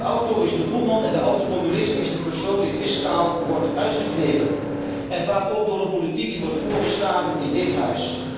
De auto is de boeman en de automobilist is de persoon die fiscaal wordt uitgeknepen en vaak ook door een politiek die wordt voorgestaan in dit Huis.